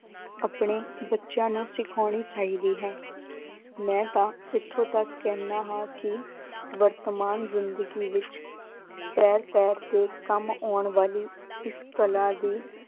ਆਪਣੇ ਬੱਚਿਆਂ ਨੂੰ ਸਿਖਾਉਣੀ ਚਾਹੀਦੀ ਹੈ ਮੈਂ ਤਾਂ ਇੱਥੋਂ ਤੱਕ ਕਹਿੰਦਾ ਹਾਂ ਕਿ ਵਰਤਮਾਨ ਜ਼ਿੰਦਗੀ ਵਿੱਚ ਪੈਰ ਪੈਰ ਤੇ ਕੰਮ ਆਉਣ ਵਾਲੀ ਇਸ ਕਲਾ ਦੀ